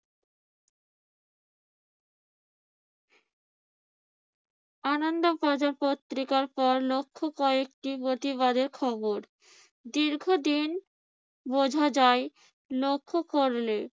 আনন্দ বাজার পত্রিকার পর লক্ষ্য কয়েকটি প্রতিবাদের খবর। দীর্ঘদিন বোঝা যায় লক্ষ্য করলে